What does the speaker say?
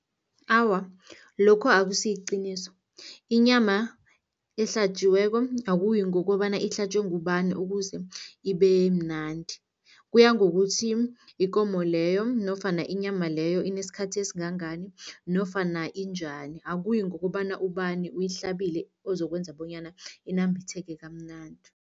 Awa, lokho akusiyiqiniso. Inyama ehlatjiweko akuyi ngokobana ihlatjwe ngubani ukuze ibe mnandi. Kuya ngokuthi ikomo leyo nofana inyama leyo inesikhathi esingangani nofana injani, akuyi ngokobana ubani uyihlabile ozokwenza bonyana inambitheke kamnandi.